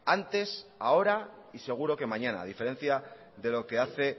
antes ahora y seguro que mañana a diferencia de lo que hace